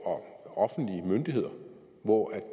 og offentlige myndigheder hvor